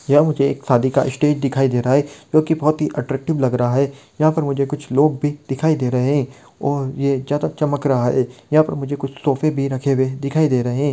यहाँ मुझे एक शादी का स्टेज दिखाई दे रहा है जो की बहुत अट्रैक्टिव लग रहा है यहाँ पर मुझे कुछ लोग भी दिखाई दे रहे है और ये ज्यादा चमक रहा है यहां पर मुझे कुछ तोफे भी रखे हुए दिखाई दे रहे है।